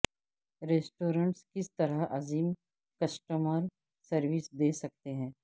restaurants کس طرح عظیم کسٹمر سروس دے سکتے ہیں